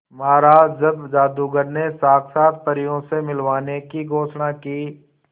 महाराज जब जादूगर ने साक्षात परियों से मिलवाने की घोषणा की